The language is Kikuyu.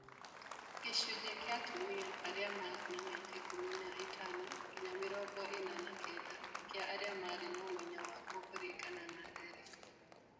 Gĩcunjĩ kĩa atumia na arũme a mĩaka ikũmi na ĩtano nginya mĩrongo ĩna na kenda kĩa arĩa marĩ na ũmenyo waguo kũringana na ndari